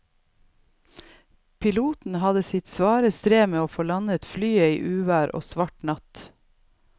Piloten hadde sitt svare strev med å få landet flyet i uvær og svart natt.